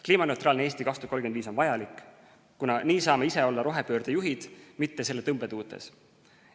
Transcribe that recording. "Kliimaneutraalne Eesti 2035" on vajalik, kuna nii saame ise olla rohepöörde juhid, mitte selle tõmbetuultes.